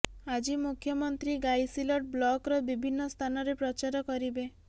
ଆଜି ମୁଖ୍ୟମନ୍ତ୍ରୀ ଗାଇସିଲଟ ବ୍ଲକର ବିଭିନ୍ନ ସ୍ଥାନରେ ପ୍ରଚାର କରିବେ